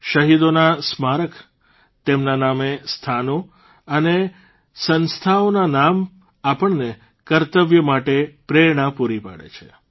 શહીદોના સ્મારક તેમના નામે સ્થાનો અને સંસ્થાઓના નામ આપણને કર્તવ્ય માટે પ્રેરણા પૂરી પાડે છે